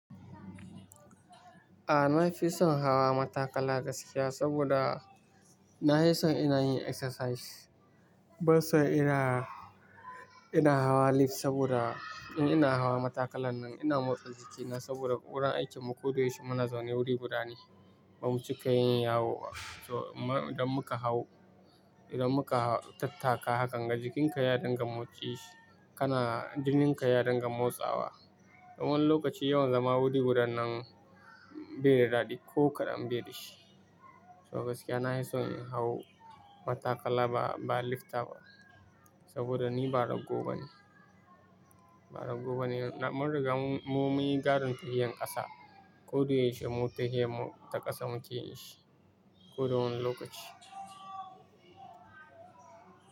A'a, na fi son hawa matakala gaskiya saboda nahi son ina yin exercise. Banson ina, ina hawa lift saboda in ina hawa matakalan nan ina motsa jikina saboda wurin aikinmu koda yaushe muna zaune wuri guda ne. Ba mu cika yin yawo ba so amma idon muka hau, idon muka tattaka hakan ga jikinka ya dinga motsi, kana jininka ya dinga motsawa. Wani lokaci yawan zama wuri guda nan be da dadi ko kaɗan be da shi. So gaskiya nahi son in hau matakala ba, ba lift ba saboda ni ba raggo bane. Ba raggo bane, mun riga mu munyi gadon tafiyar ƙasa. Ko da yaushe mu tahiyarmu ta kafa muke yin shi, koda wane lokaci.